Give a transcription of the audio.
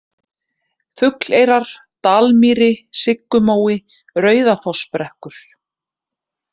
Fugleyrar, Dalmýri, Siggumói, Rauðafossabrekkur